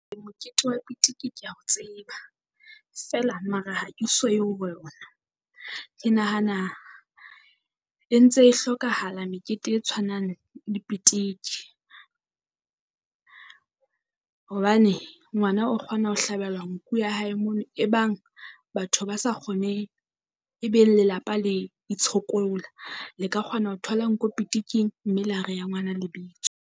Ee mokete wa pitiki kea o tseba, feela mara ha ke so ye . Ke nahana e ntse e hlokahala mekete e tshwanang le pitiki. Hobane ngwana o kgona ho hlabelwa nku ya hae mono, e bang batho ba sa kgonehe e be lelapa le itshokola, le ka kgona ho thola nku pitiking mme le ha rea ngwana lebitso.